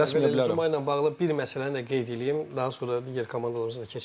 Yəni tələsməyə bilərəm, Zumo ilə bağlı bir məsələni də qeyd eləyim, daha sonra digər komandalarımıza da keçərik.